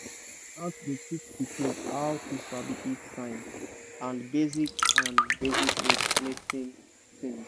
my aunt dey teach pikin how to sabi heat sign and basic and basic mating things.